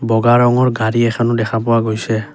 বগা ৰঙৰ গাড়ী এখনো দেখা পোৱা গৈছে।